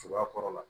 Cogoya kɔrɔ la